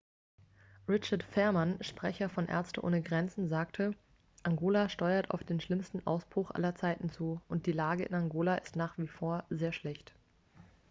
richard veerman sprecher von ärzte ohne grenzen sagte angola steuert auf den schlimmsten ausbruch aller zeiten zu und die lage in angola ist nach wie vor sehr schlecht